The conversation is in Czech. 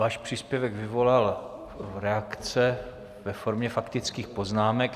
Váš příspěvek vyvolal reakce ve formě faktických poznámek.